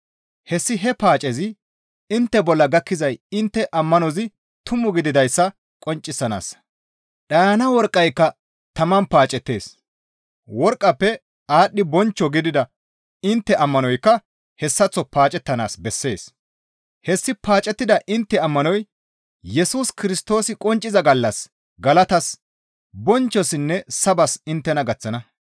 Hessi he paacezi intte bolla gakkizay intte ammanozi tumu gididayssa qonccisanaassa. Dhayana worqqayka taman paacettees; worqqafe aadhdhi bonchcho gidida intte ammanoykka hessaththo paacettanaas bessees. Hessi paacettida intte ammanoy Yesus Kirstoosi qoncciza gallas galatas, bonchchossinne sabas inttena gaththana.